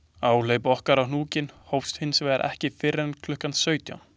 Áhlaup okkar á hnúkinn hófst hins vegar ekki fyrr en klukkan sautján.